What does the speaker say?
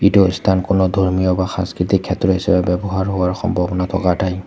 এইটো স্থান কোনো ধৰ্মীয় বা সাংস্কৃতিক ক্ষেত্ৰ হিচাপে ব্যৱহাৰ হোৱাৰ সম্ভাৱনা থকা ঠাই।